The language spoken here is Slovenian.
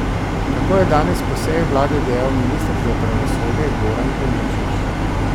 Tako je danes po seji vlade dejal minister za pravosodje Goran Klemenčič.